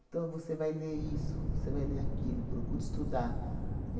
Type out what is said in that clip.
Então, você vai ler isso, você vai ler aquilo, procure estudar.